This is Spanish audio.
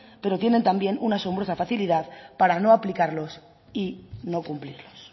pero tienen también una asombrosa facilidad para no aplicarlos y no cumplirlos